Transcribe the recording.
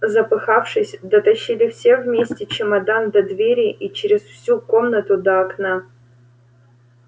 запыхавшись дотащили все вместе чемодан до двери и через всю комнату до окна